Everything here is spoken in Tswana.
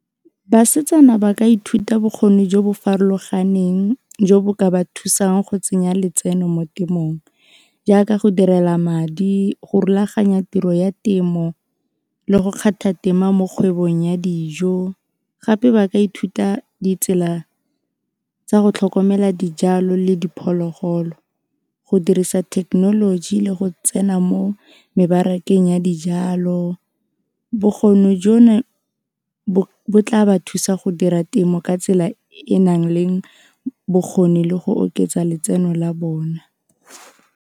Basetsana ba ka ithuta bokgoni jo bo farologaneng jo bo ka ba thusang go tsenya letseno mo temong jaaka go direla madi, go rulaganya tiro ya temo le go kgetha tema mo kgwebong ya dijo gape ba ka ithuta ditsela tsa go tlhokomela dijalo le diphologolo go dirisa technology le go tsena mo mebarakeng ya dijalo, bokgoni jono bo tla ba thusa go dira temo ka tsela e e nang le bokgoni le go oketsa letseno la bona.